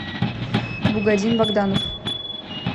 бугадин богданов